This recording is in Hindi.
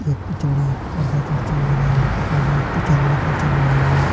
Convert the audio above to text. यख पिछाड़ी पार्द कर छन लग्यां यख मा जी कुछ जंगलु कर छ बणायु।